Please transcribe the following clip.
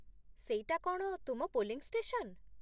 ସେଇଟା କ'ଣ ତୁମ ପୋଲିଂ ଷ୍ଟେସନ?